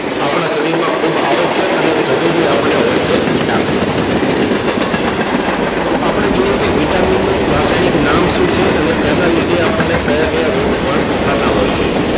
આપણા શરીર માં ખુબ આવશ્યક અને જરૂરી આપણે હોય છે vitamin તો આપડે જોઈએ કે vitamin નું રસાયણિક નામ શું છે અને તેના લીધે આપણને કયા કયા રોગ પણ થતા હોય છે